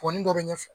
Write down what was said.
Pɔnpin dɔ bɛ ɲɛfɛ